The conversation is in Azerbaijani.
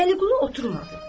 Vəliqulu oturmadı.